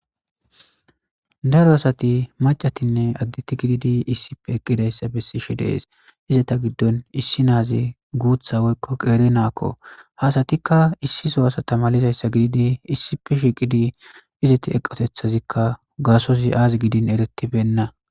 Daro asati maccane adde asati gididi eqqidaysa besishe de'es izeta giddon issi nazi guutha woyikko qeri nako ha asatika issi soo asa mallidi issippe shiqqidi izeti eqqozika gasoy azzi gidin eretibena.